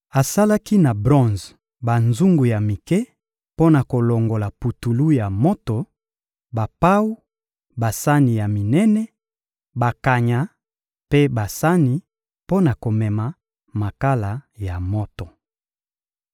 Asalaki na bronze banzungu ya mike mpo na kolongola putulu ya moto, bapawu, basani ya minene, bakanya mpe basani mpo na komema makala ya moto.